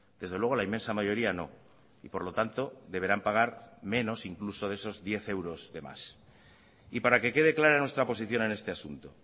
desde luego la inmensa mayoría no y por lo tanto deberán pagar menos incluso de esos diez euros de más y para que quede clara nuestra posición en este asunto